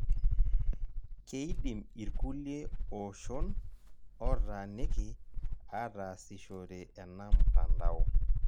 Keidim irkulie oshoon otaaniki aatasishore ena mtandao.